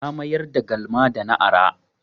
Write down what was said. Na mayar da galma da na ara.